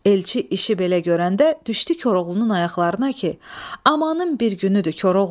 Elçi işi belə görəndə düşdü Koroğlunun ayaqlarına ki, amanım bir günüdür Koroğlu.